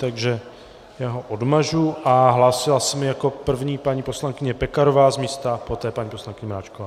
Takže já ho odmažu a hlásila se mi jako první paní poslankyně Pekarová z místa, poté paní poslankyně Mračková.